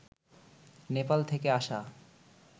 নেপাল থেকে আসা